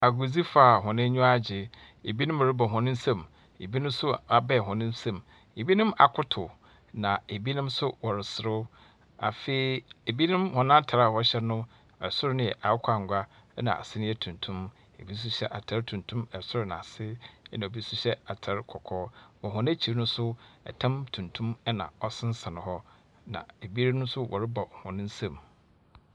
Agodzifo a hɔn eniwa agye. Ebinom rebɔ hɔn nsam ebi nso abae hɔn nsam. Ebinom akotow, na ebinom nso wɔreserew. Afei ebinom hɔn atar a wɔhyɛ no, soro no yɛ akokɔ angua, ɛnna ase no yɛ tuntum. Ebi nso nyɛ atar tuntum sor na ase, ɛnna ebi nso hyɛ atar kɔkɔɔ. Wɔ hɔn ekyir no nso no tan tuntum na ɔsensɛn hɔ, na ebinom nso wɔrebɔ hɔn nsam.